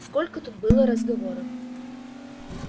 сколько тут было разговоров